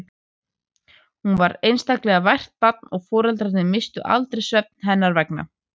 Hún var einstaklega vært barn og foreldrarnir misstu aldrei svefn hennar vegna.